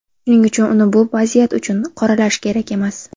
Shuning uchun uni bu vaziyat uchun qoralash kerak emas.